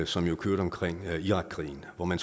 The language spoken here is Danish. som jo kørte omkring irakkrigen hvor man